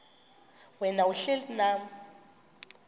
wena uhlel unam